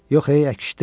Yox, əkişdirib.